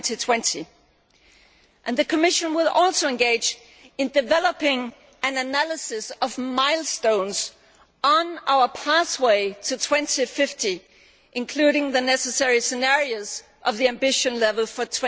2020. The Commission will also engage in developing an analysis of milestones on our pathway to 2050, including the necessary scenarios of the ambition level for